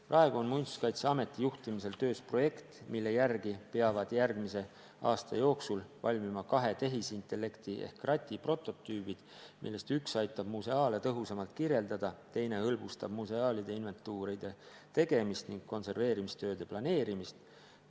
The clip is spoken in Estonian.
Praegu on Muinsuskaitseameti juhtimisel töös projekt, mille järgi peavad järgmise aasta jooksul valmima kahe tehisintellekti ehk krati prototüübid, millest üks aitab museaale tõhusamalt kirjeldada, teine hõlbustab museaalide inventuuride tegemist ning konserveerimistööde planeerimist.